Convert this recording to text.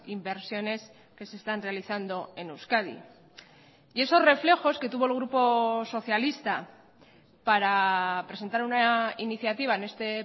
inversiones que se están realizando en euskadi y esos reflejos que tuvo el grupo socialista para presentar una iniciativa en este